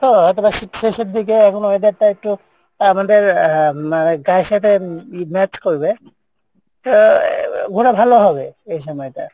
তো হয়তো বা শীত শেষের দিকে এখনও, weather টা একটু আমাদের আহ গায়ের সাথে match করবে, তো ঘোরা ভালো হবে এই সময় টা।